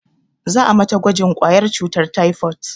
Za a mata gwajin ƙwayar cutar taifot